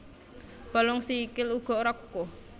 Balung sikil uga ora kukuh